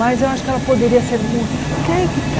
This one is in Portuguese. Mas eu acho que ela poderia ser mu... Porque aí é que está.